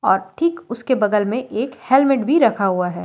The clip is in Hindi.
और ठीक उसके बगल में एक हेलमेट भी रखा हुआ है।